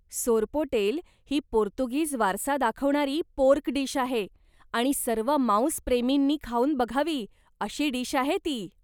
सोरपोटेल ही पोर्तुगीज वारसा दाखवणारी पोर्क डिश आहे आणि सर्व मांसप्रेमींनी खाऊन बघावी अशी डिश आहे ती.